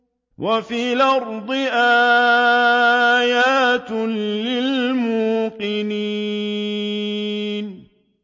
وَفِي الْأَرْضِ آيَاتٌ لِّلْمُوقِنِينَ